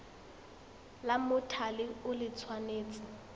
la mothale o le tshwanetse